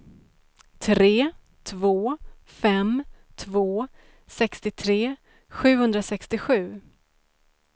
tre två fem två sextiotre sjuhundrasextiosju